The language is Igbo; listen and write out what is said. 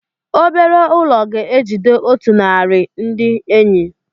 Obere ụlọ ga-ejide otu narị ndị enyi.